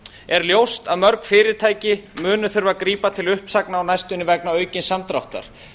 er ljóst að mörg fyrirtæki munu þurfa að grípa til uppsagna á næstunni vegna aukins samdráttar